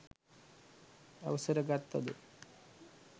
අවසර ගත්තද